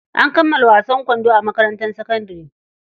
An kammala wasan kwando a makarantar sakandare.